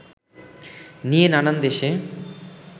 নিয়ে নানান দেশে